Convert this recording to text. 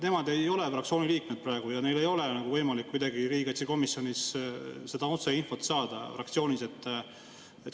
Nemad ei ole fraktsiooni liikmed praegu ja neil ei ole võimalik kuidagi riigikaitsekomisjonist seda otseinfot saada fraktsioonis.